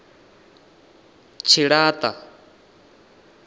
tshilata